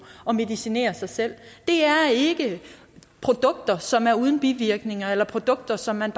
at medicinere sig selv det er ikke produkter som er uden bivirkninger eller produkter som man